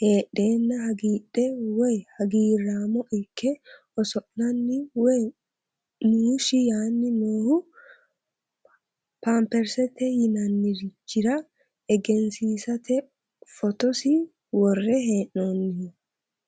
heexeenna hagiidhe woye hagiiraamo ikke oso'lanni woye muushshi yaani noohu pampersete yinannirichira egensiisate fotosi worre hee'noonniho.